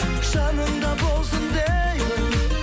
жаныңда болсын деймін